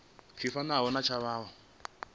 tshi fanaho na tshavho tsho